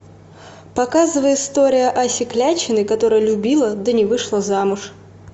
показывай история аси клячиной которая любила да не вышла замуж